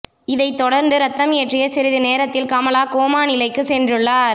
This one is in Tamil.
இதைத் தொடர்ந்து இரத்தம் ஏற்றிய சிறிது நேரத்தில் கமலா கோமா நிலைக்கு சென்றுள்ளார்